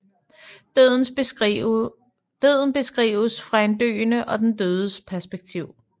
Døden beskrives fra den døende og den dødes perspektiv